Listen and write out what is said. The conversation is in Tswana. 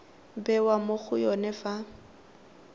bewa mo go yone fa